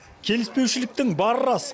келіспеушлік бары рас